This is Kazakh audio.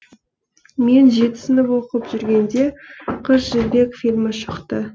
мен жеті сынып оқып жүргенде қыз жібек фильмі шықты